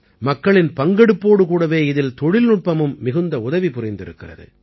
மக்களின் பங்கெடுப்போடு கூடவே இதிலே தொழில்நுட்பமும் மிகுந்த உதவி புரிந்திருக்கிறது